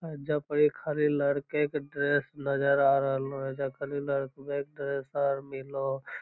एजा पड़ी खाली लड़के के ड्रेस नज़र आ रहलो एजा खाली लड़कवे के ड्रेस आर मिलो।